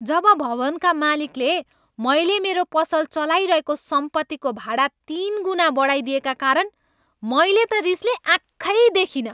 जब भवनका मालिकले मैले मेरो पसल चलाइरहेको सम्पत्तिको भाडा तिनगुना बढाइदिएका कारण मैले त रिसले आँखै देखिनँ।